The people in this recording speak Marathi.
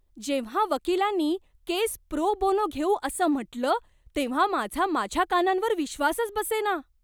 जेव्हा वकिलांनी केस प्रो बोनो घेऊ असं म्हटलं, तेव्हा माझा माझ्या कानांवर विश्वासच बसेना!